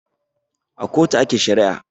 A kotu ake shari'a